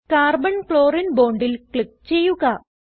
carbon ക്ലോറിനെ bondൽ click ചെയ്യുക